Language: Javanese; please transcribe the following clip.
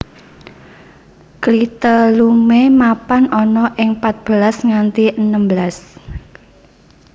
Klitelume mapan ana ing pat belas nganti enem belas